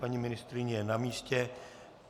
Paní ministryně je na místě.